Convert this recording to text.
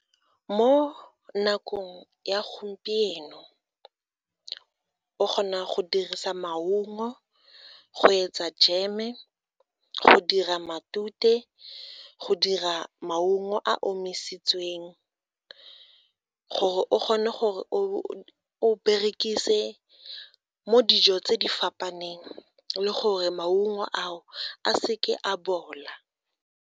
Mo nakong ya gompieno o kgona go dirisa maungo go etsa jeme, go dira matute, go dira maungo a omisitsweng gore o kgone gore o berekise mo dijo tse di fapaneng le gore maungo ao, a se ke a bola.